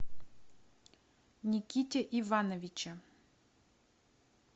никите ивановиче